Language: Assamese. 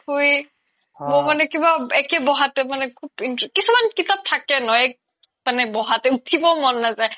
মই মানে কিবা একে বহাতে মানে খুব interest কিছুমান কিতাপ থাকে ন এক বহাতে মানে উথিব মন নাজাই